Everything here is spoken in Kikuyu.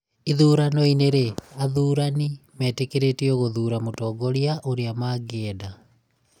Ithuranoinĩ rĩ, athurani metĩkĩrĩtio gũthura mũtongoria ũrĩa mangĩenda